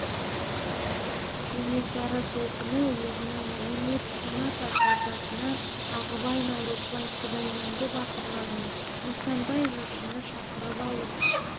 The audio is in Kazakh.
кенесары сол күні өзінің он екі қанат ақ ордасына ағыбай наурызбай құдайменді батырлар мен нысанбай жыршыны шақырып алып